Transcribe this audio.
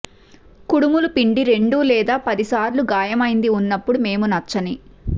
కుడుములు పిండి రెండు లేదా పది సార్లు గాయమైంది ఉన్నప్పుడు మేము నచ్చని